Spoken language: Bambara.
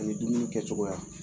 Ani dumuni kɛcogoya.